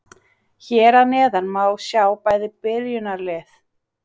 Hér að neðan má sjá bæði byrjunarlið.